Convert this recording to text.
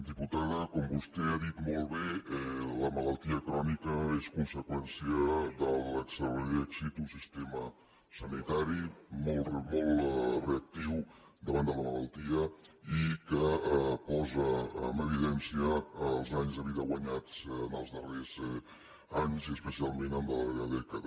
diputada com vostè ha dit molt bé la malaltia crònica és conseqüència de l’excel·lent èxit d’un sistema sanitari molt reactiu davant de la malaltia i que posa en evidència els anys de vida guanyats en els darrers anys i especialment en la darrera dècada